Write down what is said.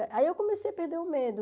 A aí eu comecei a perder o medo.